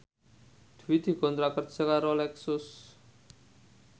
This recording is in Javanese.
Dwi dikontrak kerja karo Lexus